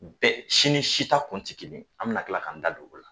Bɛɛ si ni si ta kun tɛ kelen ye, an bɛna tila k'an da don olu la.